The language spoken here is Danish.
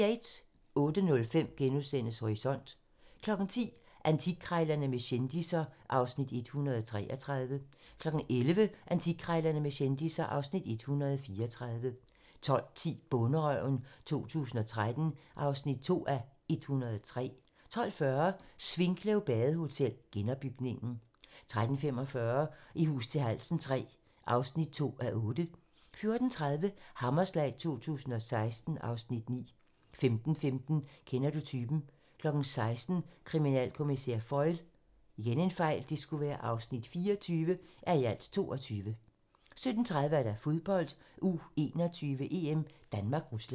06:05: Horisont * 10:00: Antikkrejlerne med kendisser (Afs. 133) 11:00: Antikkrejlerne med kendisser (Afs. 134) 12:10: Bonderøven 2013 (2:103) 12:40: Svinkløv Badehotel - genopbygningen 13:45: I hus til halsen III (2:8) 14:30: Hammerslag 2016 (Afs. 9) 15:15: Kender du typen? 16:00: Kriminalkommissær Foyle (24:22) 17:30: Fodbold: U21-EM: Danmark-Rusland